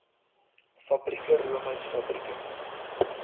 fabrieke roomys fabrieke